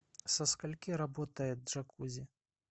со скольки работает джакузи